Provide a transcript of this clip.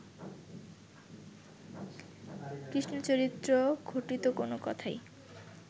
কৃষ্ণচরিত্র-ঘটিত কোন কথাই